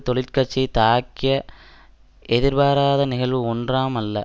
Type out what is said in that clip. தொழிற்கட்சியை தாக்கிய எதிர்பாராத நிகழ்வு ஒன்றாம் அல்ல